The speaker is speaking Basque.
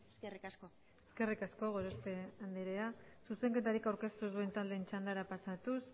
eskerrik asko eskerrik asko gorospe andrea zuzenketarik aurkeztu ez duten taldeen txandara pasatuz